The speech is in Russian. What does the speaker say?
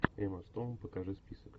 эмма стоун покажи список